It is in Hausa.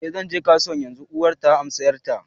eh zan je kasuwa yanzu, uwar ta amsa 'yarta